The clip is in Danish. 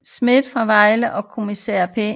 Schmidt fra Vejle og kriminalkommissær P